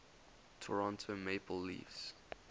toronto maple leafs